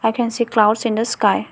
I can see clouds in the sky.